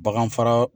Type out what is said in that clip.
Bagan fara